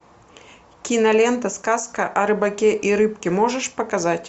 кинолента сказка о рыбаке и рыбке можешь показать